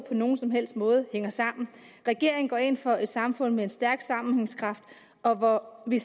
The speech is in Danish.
nogen som helst måde hænger sammen regeringen går ind for et samfund med en stærk sammenhængskraft og hvor vi